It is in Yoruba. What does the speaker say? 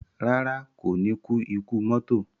Rárá, kò ní kú ikú mọ́tò